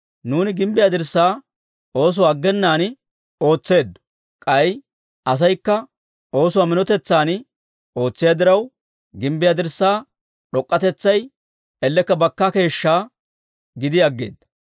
Nuuni gimbbiyaa dirssaa oosuwaa aggenaan ootseeddo. K'ay asaykka oosuwaa minotetsan ootsiyaa diraw, gimbbiyaa dirssaa d'ok'k'atetsay ellekka bakkaa keeshshaa gidi aggeeda.